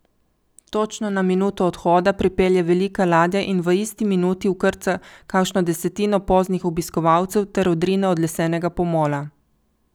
Točno na minuto odhoda pripelje velika ladja in v isti minuti vkrca kakšno desetino poznih obiskovalcev ter odrine od lesenega pomola.